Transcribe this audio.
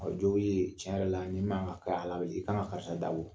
Jɔw ye tiɲɛ yɛrɛ la i ka kan ka karisa dabɔ